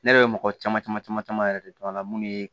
Ne yɛrɛ bɛ mɔgɔ caman caman caman caman yɛrɛ de dɔn a la mun ye